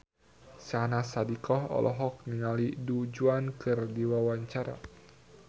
Syahnaz Sadiqah olohok ningali Du Juan keur diwawancara